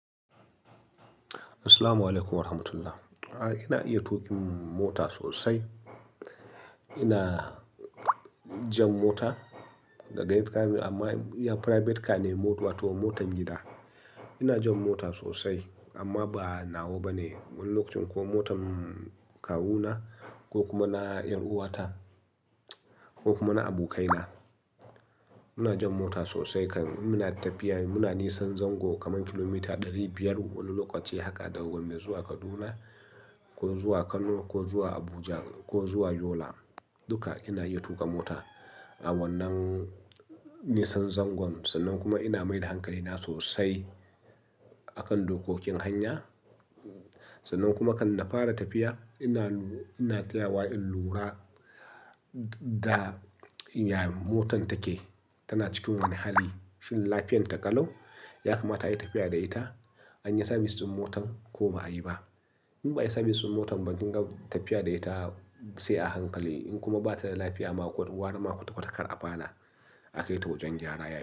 Assalamualaikum warahmatullahi. A'a, ina iya tuƙin mota sosai. Ina jan mota daga gida amma iya private car ne mota wato motar gida. Ina jan mota sosai amma ba na wa ba ne. Wani lokacin ko motar kawuna ko kuma na ƴar'uwata ko kuma na abokaina. Muna jan mota sosai kan muna tafiya. Muna nisan zango kaman kilomita ɗari biyar wani lokaci haka ɗau gombe zuwa Kaduna ko zuwa Kano ko zuwa Abuja ko zuwa Yola. Duka ina iya tuƙa mota a wannan nisan zangon sannan kuma ina mai da hankalina sosai a kan dokokin hanya. Sannan kuma kan na fara tafiya ina, ina tsayawa in lura da ya motan take. Tana cikin wani hali fil lafiyan ta ƙalau yakamata ayi tafiya da ita, an yi sabis ɗin motar ko ba a yi ba. In ba a yi sabis ɗin motar ba kin ga tafiya da ita sai a hankali in kuma bata da lafiya ma ko ware ma kwata kwata kar a fara akai ta wajen gyara yafi.